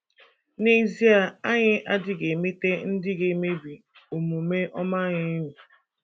N’ezie, anyị adịghị emete ndị ‘ ga - emebi omume ọma ’’ anyị enyi.